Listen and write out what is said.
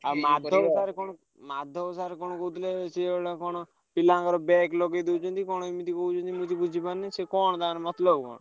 ଆଉ ମାଧବ sir କଣ Madhav sir କଣ କହୁଥିଲେ ସିଏ ଗୋଟେ କଣ ପିଲାଙ୍କର back ଲଗେଇଦଉଛନ୍ତି କଣ ଏମିତି କହୁଛନ୍ତି ମୁଁ କିଛି ବୁଝିପାରୁନି। ସେ କଣ ତାଙ୍କ ମତଲବ କଣ?